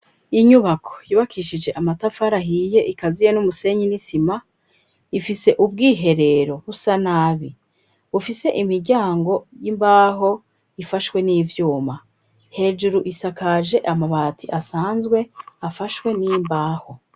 Inyubako yubakishije amatafari ahiye ikaziye n'umusenyi n'isima ifise ubwiherero busa nabi bufise imiryango y'imbaho ifashwe n'ivyuma, hejuru isakaje amabati asanzwe afashwe n'imbaho.